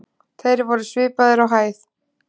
Þeir voru svipaðir á hæð.